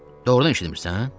Doğrudan eşitmirəsən?